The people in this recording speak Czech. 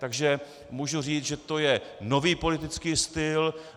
Takže můžu říct, že to je nový politický styl.